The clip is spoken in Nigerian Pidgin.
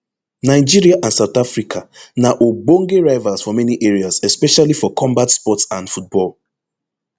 nigeria and south africa na ogbonge rivals for many areas especially for combat sports and football